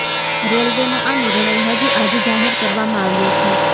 રેલ્વેનો આ નિર્ણય હજી આજે જાહેર કરવામાં આવ્યો છે